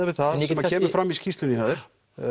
við það sem kemur fram í skýrslunni hjá þér